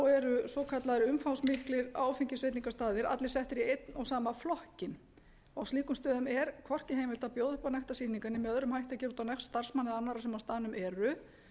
eru svokallaðir umfangsmiklir áfengisveitingastaðir allir settir í einn og sama flokkinn og á slíkum stöðum er hvorki heimilt að bjóða upp á nektarsýningar né með öðrum hætti gera út á nekt starfsmanna eða annarra sem á staðnum eru